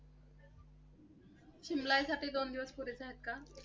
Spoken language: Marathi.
शिमल्यासाठी दोन दिवस पुरेसे आहेत का?